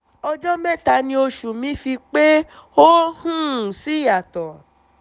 ọjọ́ mẹ́ta ni oṣù mi fi pé ó um sì yàtọ̀